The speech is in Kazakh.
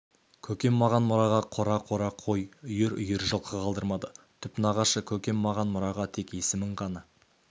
көкем маған мұраға қора-қора қой үйір-үйір жылқы қалдырмады түп нағашы көкем маған мұраға тек есімін ғана